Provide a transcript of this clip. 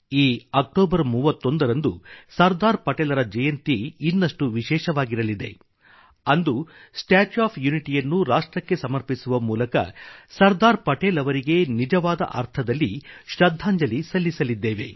ಈ ಅಕ್ಟೋಬರ್ 31 ರಂದು ಸರ್ದಾರ್ ಪಟೇಲ್ರ ಜಯಂತಿ ಇನ್ನಷ್ಟು ವಿಶೇಷವಾಗಿರಲಿದೆ ಅಂದು ಸ್ಟ್ಯಾಚ್ಯೂ ಆಫ್ ಯುನಿಟಿಯನ್ನು ರಾಷ್ಟ್ರಕ್ಕೆ ಸಮರ್ಪಿಸುವ ಮೂಲಕ ಸರ್ದಾರ್ ಪಟೇಲ್ ಅವರಿಗೆ ನಿಜವಾದ ಅರ್ಥದಲ್ಲಿ ಶೃದ್ಧಾಂಜಲಿ ಸಲ್ಲಿಸಲಿದ್ದೇವೆ